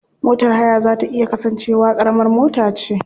Motar haya za ta iya kasance wa karamar mota ce.